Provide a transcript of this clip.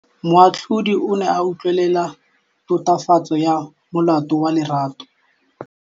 Moatlhodi o ne a utlwelela tatofatsô ya molato wa Lerato.